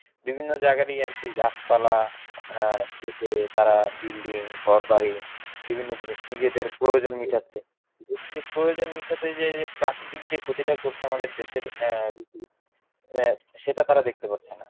বিভিন্ন জায়গা দিয়ে আরকি গাছপালা আহ কেটে তারা building ঘর বাড়ি বিভিন্ন জিনিস নিজেদের প্রয়োজন মিটাচ্ছে প্রয়োজন মিটাতে যেয়ে যে প্রাকৃতিক যে ক্ষতিটা করছে আমাদের দেশের আহ আহ সেটা তারা দেখতে পারছে না।